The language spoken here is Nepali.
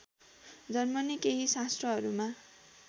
जन्मने केही शास्त्रहरूमा